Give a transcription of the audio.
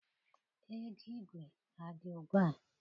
Ego igwe adị ugbua?